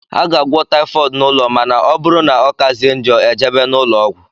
A ga - agwọ typhooid n' ụlọ ma na ọbụrụ na ọkazie njọ ejebe n' ulọọgwu.